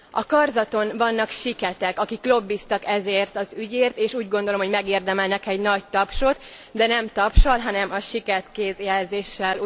A karzaton vannak siketek, akik lobbiztak ezért az ügyért, és úgy gondolom, hogy megérdemelnek egy nagy tapsot, de nem tapssal, hanem a siket kézjelzéssel.